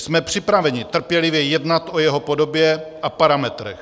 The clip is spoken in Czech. Jsme připraveni trpělivě jednat o jeho podobě a parametrech.